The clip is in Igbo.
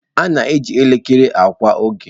A na-eji elekere akọwa oge